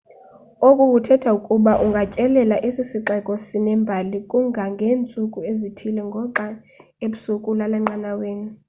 oku kuthetha ukuba ungatyelela esi sixeko sinembali kangangeentsuku ezithile ngoxa ebusuku ulala enqanaweni